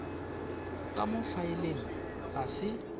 ka mo faeleng ga se